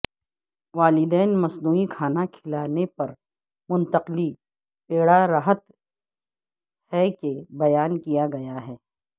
والدین مصنوعی کھانا کھلانے پر منتقلی پیڑارہت ہے کہ بیان کیا گیا ہے